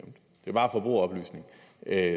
er